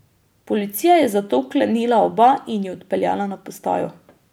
Policija je zato vklenila oba in ju odpeljala na postajo.